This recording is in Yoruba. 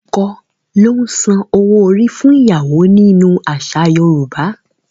Ọkọ ló ń san owó orí fún ìyàwó nínú àṣà Yorùbá.